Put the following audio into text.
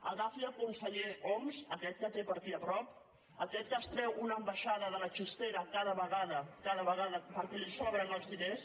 agafi el conseller homs aquest que té per aquí a prop aquest que es treu una ambaixada de la chistera cada vegada perquè li sobren els diners